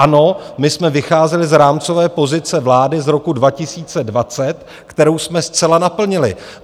Ano, my jsme vycházeli z rámcové pozice vlády z roku 2020, kterou jsme zcela naplnili.